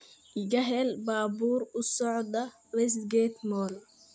iga hel baabuur u socda Westgate Mall